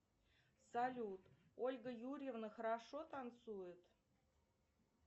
салют ольга юрьевна хорошо танцует